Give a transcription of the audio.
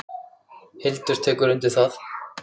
Hildur tekur undir það.